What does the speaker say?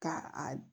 Ka a